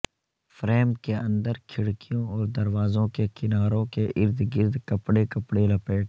frame کے اندر کھڑکیوں اور دروازوں کے کناروں کے ارد گرد کپڑے کپڑے لپیٹ